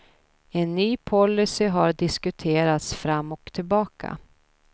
En ny policy har diskuterats fram och tillbaka.